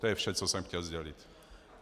To je vše, co jsem chtěl sdělit.